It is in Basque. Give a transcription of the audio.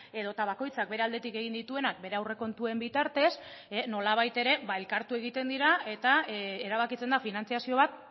edota bakoitzak bere aldetik egin dituenak bere aurrekontuen bitartez nolabait ere elkartu egiten dira eta erabakitzen da finantzazio bat